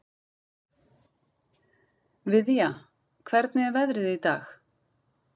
Viðja, hvernig er veðrið í dag?